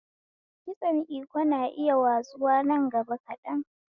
Kitson Iko na iya watsuwa nan gaba kaɗan